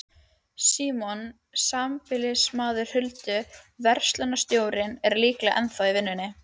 Símon, sambýlismaður Huldu, verslunarstjórinn, er líklega ennþá í vinnunni.